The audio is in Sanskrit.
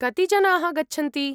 कति जनाः गच्छन्ति?